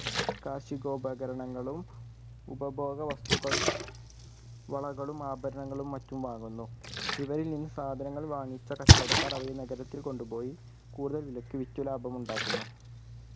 കാർഷികോപകരണങ്ങളും ഉപഭോഗവസ്‌തുക്കളും വളകളും ആഭരണങ്ങളും മറ്റും വാങ്ങുന്നു ഇവയിൽ നിന്ന് സാധങ്ങൾ വാങ്ങിച്ച കച്ചവടക്കാർ അവയെ നഗരത്തിൽ കൊണ്ടുപോയി കൂടുതൽ വിലയ്ക്ക് വിറ്റ് ലാഭം ഉണ്ടാക്കുന്നു